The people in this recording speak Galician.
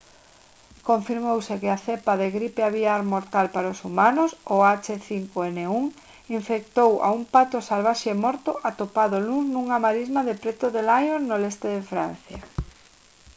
confirmouse que a cepa de gripe aviar mortal para os humanos o h5n1 infectou a un pato salvaxe morto atopado o luns nunha marisma preto de lyon no leste de francia